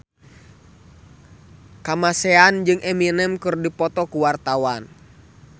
Kamasean jeung Eminem keur dipoto ku wartawan